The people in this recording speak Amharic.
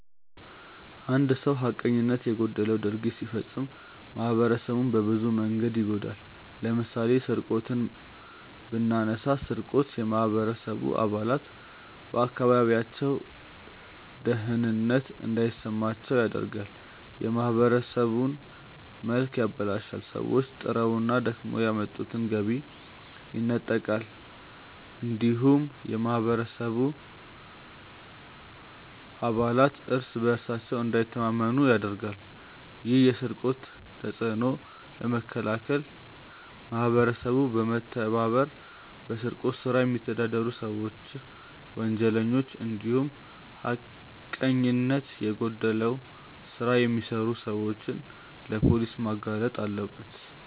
አንድ ሰው ሀቀኝነት የጎደለው ድርጊት ሲፈጽም ማህበረሰቡን በብዙ መንገድ ይጎዳል። ለምሳሌ ስርቆትን ብናነሳ ስርቆት የማህበረሰቡ አባላት በአካባቢያቸው ደህንነት እንዳይሰማቸው ያደርጋል፣ የማህበረሰቡን መልክ ያበላሻል፣ ሰዎች ጥረውና ደክመው ያመጡትን ገቢ ይነጥቃል እንዲሁም የማህበረሰቡ አባላት እርስ በእርሳቸው እንዳይተማመኑ ያደርጋል። ይህን የስርቆት ተጽዕኖ ለመከላከል ማህበረሰቡ በመተባበር በስርቆት ስራ የሚተዳደሩ ሰዎችን፣ ወንጀለኞችን እንዲሁም ሀቀኝነት የጎደለው ስራ የሚሰሩ ሰዎችን ለፖሊስ ማጋለጥ አለበት።